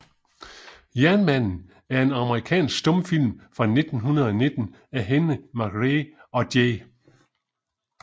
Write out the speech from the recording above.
Jernmanden er en amerikansk stumfilm fra 1919 af Henry MacRae og J